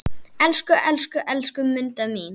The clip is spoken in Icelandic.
Elsku, elsku, elsku Munda mín.